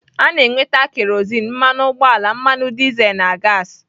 A na-enweta kerozin, mmanụ ugboala, mmanụ dizel na gaasị.